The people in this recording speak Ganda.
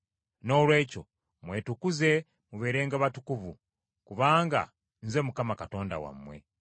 “ ‘Noolwekyo mwetukuze mubeerenga batukuvu, kubanga Nze Mukama Katonda wammwe.